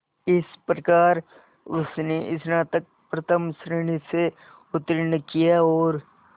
इस प्रकार उसने स्नातक प्रथम श्रेणी से उत्तीर्ण किया और